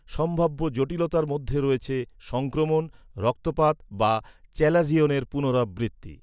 সম্ভাব্য জটিলতার মধ্যে রয়েছে, সংক্রমণ, রক্তপাত বা চ্যালাজিয়নের পুনরাবৃত্তি।